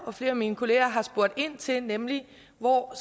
og flere af mine kollegaer har spurgt ind til er nemlig hvor